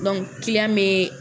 bɛ